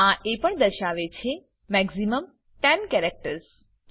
આ એ પણ દર્શાવે છે કે મેક્સિમમ 10 કેરેક્ટર્સ